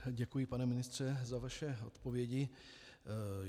Děkuji, pane ministře za vaše odpovědi.